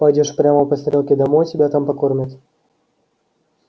пойдёшь прямо по стрелке домой и тебя там покормят